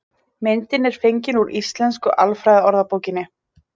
myndin er fengin úr íslensku alfræðiorðabókinni